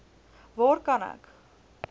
waar kan ek